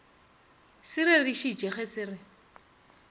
se rerešitše ge se re